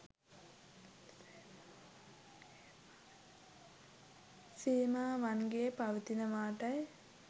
සීමාවන්ගේ පවතිනවාටයි.